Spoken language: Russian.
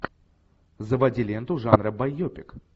заводи ленту жанра байопик